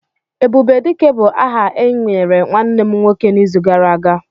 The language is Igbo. "Ebubedike" bu áhà e nyere nwanne m nwoke n''izu gara aga